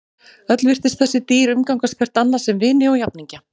Öll virtust þessi dýr umgangast hvert annað sem vini og jafningja.